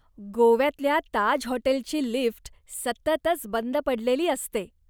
गोव्यातल्या ताज हॉटेलची लिफ्ट सततच बंद पडलेली असते.